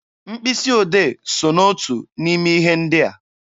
Mkpịsị odee so n'otu n'ime ihe ndị a.